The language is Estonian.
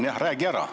Jah, räägi ära.